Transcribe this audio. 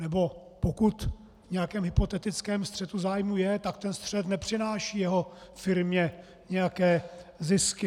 Nebo, pokud v nějakém hypotetickém střetu zájmů je, tak ten střet nepřináší jeho firmě nějaké zisky.